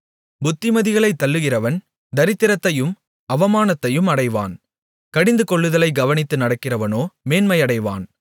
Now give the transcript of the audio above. புத்திமதிகளைத் தள்ளுகிறவன் தரித்திரத்தையும் அவமானத்தையும் அடைவான் கடிந்து கொள்ளுதலைக் கவனித்து நடக்கிறவனோ மேன்மையடைவான்